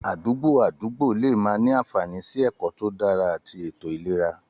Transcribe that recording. Àdúgbò àdúgbò lè má ní àfààní sí ẹ̀kọ́ tó dára àti ètò ìlera.